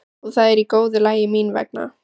Og það er í góðu lagi mín vegna.